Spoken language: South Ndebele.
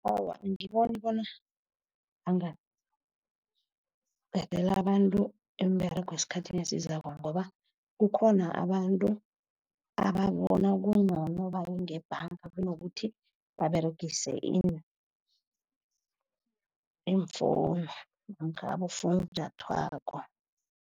Awa, angiboni bona angaqedela abantu iimberego esikhathini esizako ngoba kukhona abantu abatjha bona kungcono baye ngebhanga kunokuthi baberegise iimfowunu, namkha abofunjathwako.